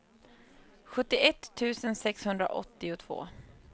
sjuttioett tusen sexhundraåttiotvå